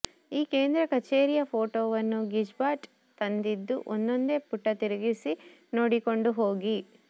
ಈ ಕೇಂದ್ರ ಕಛೇರಿಯ ಫೋಟೋವನ್ನು ಗಿಜ್ಬಾಟ್ ತಂದಿದ್ದು ಒಂದೊಂದೆ ಪುಟ ತಿರುಗಿಸಿ ನೋಡಿಕೊಂಡು ಹೋಗಿ